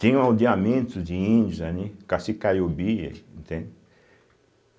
Tinha um aldeamento de índios ali, cacique caiobi, entende?